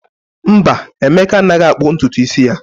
Mba, Emeka anaghị akpụ ntutu isi ya.